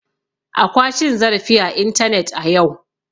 Akwa cin zarafi a intanet a yau.